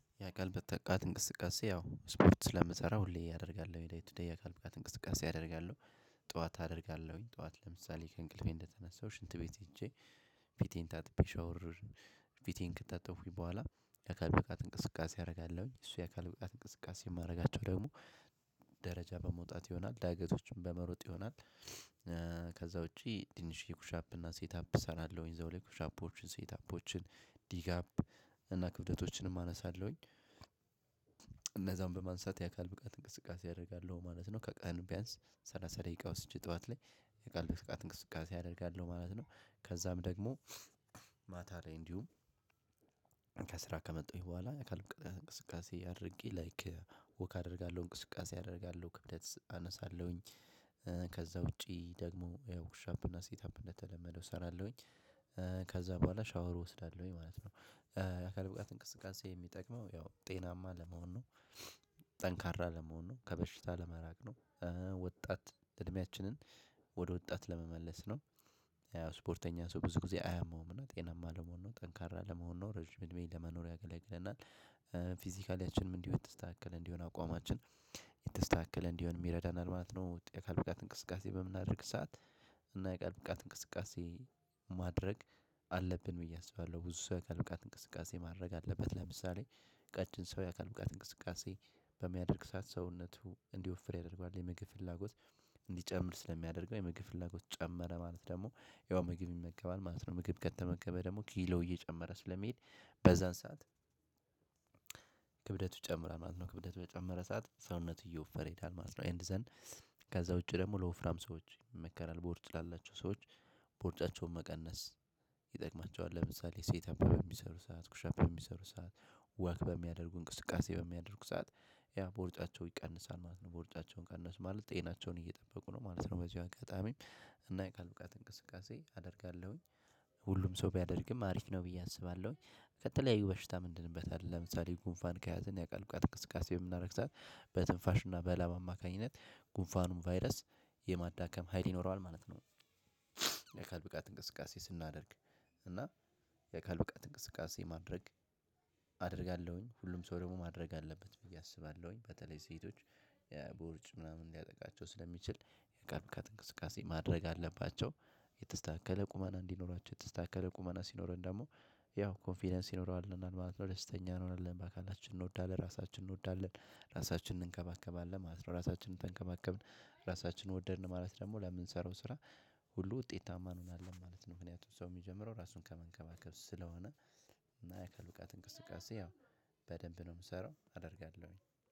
የአካል ብቃት እንቅስቃሴ ያው ስፖርት ስለምሰራ ሁሌ ያደርጋለሁ ደይ ቱደይ የአካል ብቃት እንቅስቃሴ አደርጋለሁ። ጠዋት አደርጋለሁኝ ጠዋት ለምሳሌ ከእንቅልፌ እንደተነሳሁ ሽንት ቤት ሄጄ። ፊቴን ታጥቤ ሻወር። ፊቴን ከታጠብኩኝ በኋላ አካል ብቃት እንቅስቃሴ አደርጋለሁኝ እሱ የአካል ብቃት እንቅስቃሴ የማደርጋቸው ደግሞ ደረጃ በመውጣት ይሆናል ዳገቶችን በመሮጥ ይሆናል። ከዛ ውጪ ትንሽዬ የኩሻፕ እና ሴት አፕ እሰራለሁኝ እዛው ላይ ኩሽ አፖችን ሴት አፖችን ዲጋፕ እና ክብደቶችንም አነሳለሁኝ። እነዛን በማንሳት የአካል ብቃት እንቅስቃሴ ያደርጋሉ ማለት ነው። ከቀን ቢያንስ ሰላሳ ደቂቃ ወስጄ ጠዋት ላይ የአካል ብቃት እንቅስቃሴ አደርጋለሁ ማለት ነው። ከዛም ደግሞ ማታ ላይ እንዲሁም ከስራ ከመጣሁኝ በኋላ የአካል ብቃት እንቅስቃሴ አድርጌ ላይክ ወክ አደርጋለሁ እንቅስቃሴ አደርጋለሁ ክብደት አነሳለሁኝ። ከዛ ውጪ ደግሞ ያው ኩሻፕ እና ሴት አፕ እንደተለመደው እሰራለሁኝ። ከዛ በኋላ ሻወር እወስዳለሁኝ ማለት ነው። የአካል ብቃት እንቅስቃሴ የሚጠቅመው ያው ጤናማ ለመሆን ነው። ጠንካራ ለመሆን ነው ከበሽታ ለመራቅ ነው። ወጣት እድሜችንን ወደ ወጣት ለመመለስ ነው። ያው ስፖርተኛ ሰው ብዙ ጊዜ አያመዉም እና ጤናማ ለመሆን ነው ጠንካራ ለመሆን ነው ረጅም እድሜ ለመኖር ያገለግለናል። ፊዚካሊያችንም እንዲሁ የተስተካከል እንዲሆን አቋማችን የተስተካከለ እንዲሆንም ይረዳናል ማለት ነው። የአካል ብቃት እንቅስቃሴ በምናደርግ ሰዓት። እና የአካል ብቃት እንቅስቃሴ ማድረግ አለብን ብዬ አስባለሁ። ብዙ ሰው አካል ብቃት እንቅስቃሴ ማድረግ አለበት። ለምሳሌ ቀጭን ሰው የአካል ብቃት እንቅስቃሴ በሚያደርግ ሰዓት ሰውነቱ እንዲወፍር ያደርገዋል የምግብ ፍላጎት። እንዲጨምር ስለሚያደርገው የምግብ ፍላጎት ጨመረ ማለት ደግሞ ያው ምግብ ይመገባል ማለት ነው። ምግብ ከተመገበ ደግሞ ኪሎ እየጨመረ ስለሚሄድ። በዛን ሰዓት ጨምሯል ማለት ነው። ክብደቱ በጨመረ ሰዓት ሰውነት እየወፈረ ይሄዳል ማለት ነው። ኤንድ ዘን ከዛ ውጪ ደግሞ ለወፍራም ሰዎች ይመከራል ቦርጭ ላላቸው ሰዎች። ቦርጫቸውን መቀነስ ይጠቅማቸዋል። ለምሳሌ ሴት አፕ በሚሰሩ ሰዓት ኩሻፕ በሚሰሩ ሰዓት ወክ በሚያደርጉ እንቅስቃሴ በሚያደርጉ ሰዓት ያ ቦርጫቸው ይቀንሳል ማለት ነው። ቦርጫቸውን ቀነሱ ማለት ጤናቸውን እየጠበቁ ነው ማለት ነው። በዚህ አጋጣሚ እና የቃል ብቃት እንቅስቃሴ አደርጋለሁኝ። ሁሉም ሰው ቢያደርግም አሪፍ ነው ብዬ አስባለሁኝ። የተለያዩ በሽታም እንድንበታለን ለምሳሌ ጉንፋን ከያዝን የአካል ብቃት እቅስቃሴ በምናደርግ ሰዓት በትንፋሽና በላብ አማካኝነት ጉንፋኑን ቫይረስ የማዳከም ሀይል ይኖረዋል ማለት ነው። የአካል ብቃት እንቅስቃሴ ስናደርግ። እና የአካል ብቃት እንቅስቃሴ ማድረግ አደርጋለሁኝ ሁሉም ሰው ደግሞ ማድረግ አለበት ብዬ አስባለሁኝ። በተለይ ሴቶች ቦርጭ ምናምን ሊያጠቃቸው ስለሚችል የአካል ብቃት እንቅስቃሴ ማድረግ አለባቸው። የተስተካከለ ቁመና እንዲኖራቸው የተስተካከለ ቁመና ሲኖረን ደግሞ ያው ኮንፊደንስ ይኖረዋል ማለት ነው። ደስተኛ እንሆናለን በአካላችን እንወዳለን ራሳችንን እንወዳለን። ራሳችንን እንከባከባለን ማለት ነው። ራሳችንን ተንከባከብን ራሳችንን ወደድን ማለት ደግሞ ለምንሰራው ስራ ሁሉ ውጤታማ እንሆናለን ማለት ነው። ምክንያቱም ሰው የሚጀምረው ራሱን ከመንከባከብ ስለሆነ። እና የአካል ብቃት እንቅስቃሴ ያው በደንብ ነው የምሰራው አደርጋለሁኝ